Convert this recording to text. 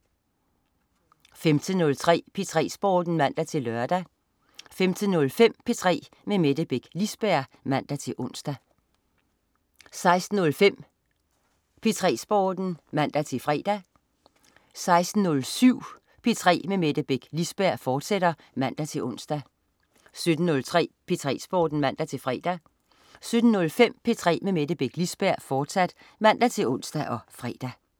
15.03 P3 Sporten (man-lør) 15.05 P3 med Mette Beck Lisberg (man-ons) 16.05 P3 Sporten (man-fre) 16.07 P3 med Mette Beck Lisberg, fortsat (man-ons) 17.03 P3 Sporten (man-fre) 17.05 P3 med Mette Beck Lisberg, fortsat (man-ons og fre)